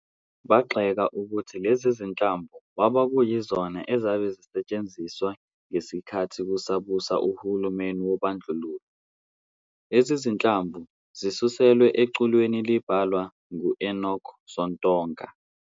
Bagxeka ukuthi leze zinhlamvu kwabe kuyizona azabe zisetshenziswa ngesikhathi kusabusa uhulumeni wobandlulo. lezi zinhlamvu zisuselwe eculweni ilabhalwa ngu-Enoch Sontonga.